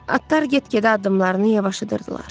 Atlar get-gedə addımlarını yavaşıdırdılar.